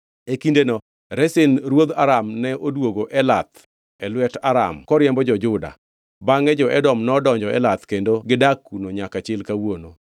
E kindeno Rezin ruodh Aram ne odwogo Elath e lwet Aram koriembo jo-Juda. Bangʼe jo-Edom nodonjo Elath kendo gidak kuno nyaka chil kawuono.